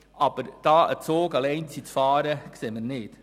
Aber in dieser Sache einen Zug alleine zu fahren, sehen wir nicht.